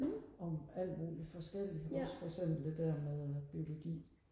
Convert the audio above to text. om alt muligt forskelligt også for eksempel det der med biologi